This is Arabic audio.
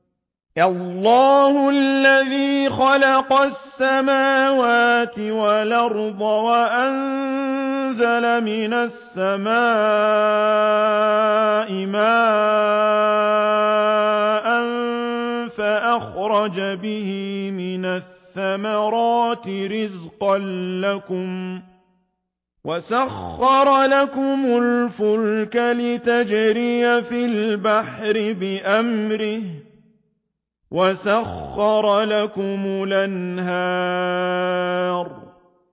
اللَّهُ الَّذِي خَلَقَ السَّمَاوَاتِ وَالْأَرْضَ وَأَنزَلَ مِنَ السَّمَاءِ مَاءً فَأَخْرَجَ بِهِ مِنَ الثَّمَرَاتِ رِزْقًا لَّكُمْ ۖ وَسَخَّرَ لَكُمُ الْفُلْكَ لِتَجْرِيَ فِي الْبَحْرِ بِأَمْرِهِ ۖ وَسَخَّرَ لَكُمُ الْأَنْهَارَ